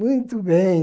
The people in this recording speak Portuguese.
Muito bem.